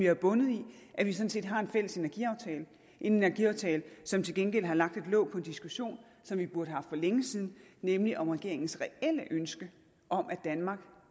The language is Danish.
er bundet i at vi sådan set har en fælles energiaftale en energiaftale som til gengæld har lagt et låg på en diskussion som vi burde have haft for længe siden nemlig om regeringens reelle ønske om at danmark